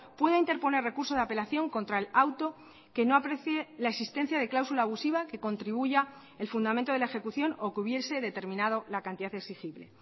pueda interponer recurso de apelación contra el auto que no aprecie la existencia de cláusula abusiva que contribuya el fundamento de la ejecución o que hubiese determinado la cantidad exigible